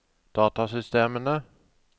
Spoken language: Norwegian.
datasystemene